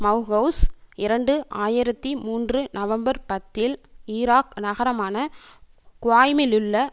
மெளஹவுஸ் இரண்டு ஆயிரத்தி மூன்று நவம்பர் பத்தில் ஈராக் நகரமான குவாய்மிலுள்ள